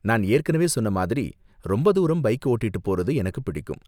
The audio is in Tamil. நான் ஏற்கனவே சொன்ன மாதிரி, ரொம்ப தூரம் பைக் ஓட்டிட்டு போறது எனக்கு பிடிக்கும்.